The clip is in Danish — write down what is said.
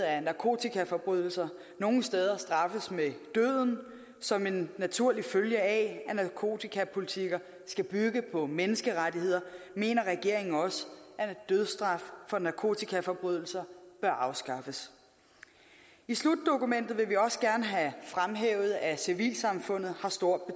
at narkotikaforbrydelser nogle steder straffes med døden som en naturlig følge af at narkotikapolitikker skal bygge på menneskerettigheder mener regeringen også at dødsstraf for narkotikaforbrydelser bør afskaffes i slutdokumentet vil vi også gerne have fremhævet at civilsamfundet har stor